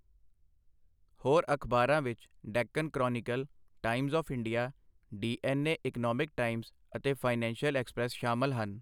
ਹੋਰ ਅਖਬਾਰਾਂ ਵਿੱਚ Deccan Chronicle, Times of India, DNA. Economic Times ਅਤੇ ਫਾਈਨੈਂਸ਼ੀਅਲ ਐਕਸਪ੍ਰੈਸ ਸ਼ਾਮਲ ਹਨ।